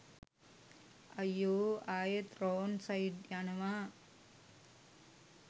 අය්යෝ අයෙත් wrong side යනවා